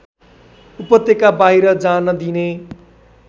उपत्यकाबाहिर जान दिने